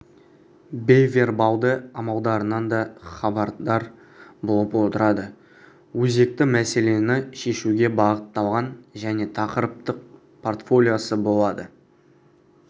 бейвербалды амалдарынан да хабардар болып отырады өзекті мәселені шешуге бағытталған және тақырыптық портфолиосы болады